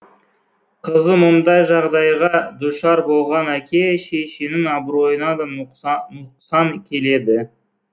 қызы мұндай жағдайға дұшар болған әке шешенің абыройына да нұқсан келеді